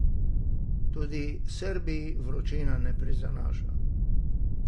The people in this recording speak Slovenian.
Tudi Srbiji vročina ne prizanaša.